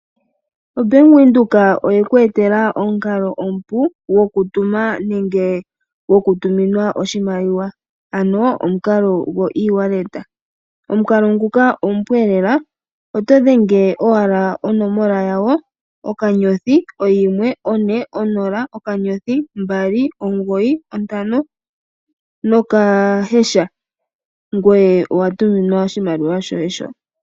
Bank Windhoek oye ku etela omukalo omupu gwokutuma nenge gwokutuminwa oshimaliwa ano omukalo gwoEasy Wallet. Omukalo nguka omupu leela oto dhenge owala onomola yawo; okanyothi, oyimwe, one, onola , okanyothi, ombali, omugoyi, ontano nokaheesha, ngweye owa tuminwa oshimaliwa shoye sho.